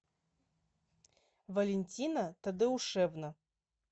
валентина тадеушевна